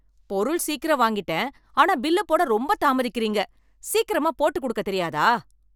பொருள் சீக்கிரம் வாங்கிட்டேன் ஆனா பில்லு போட ரொம்ப தாமதிக்கிறீங்க, சீக்கிரமா போட்டு குடுக்க தெரியாதா?